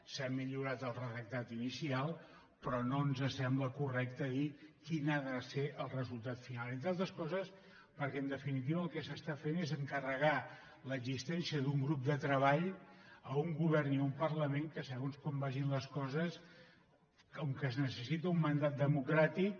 s’ha millorat el redactat inicial però no ens sembla correcte dir quin ha de ser el resultat final entre altres coses perquè en definitiva el que s’està fent és encar·regar l’existència d’un grup de treball a un govern i a un parlament que segons com vagin les coses com que es necessita un mandat democràtic